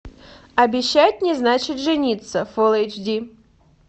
обещать не значит жениться фулл эйч ди